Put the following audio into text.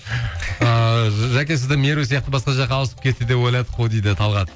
ыыы жәке сізді меру сияқты басқа жаққа ауысып кетті деп ойладық қой дейді талғат